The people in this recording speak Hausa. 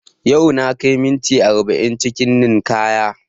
Yau na kai minti arba'in cikin ninkaya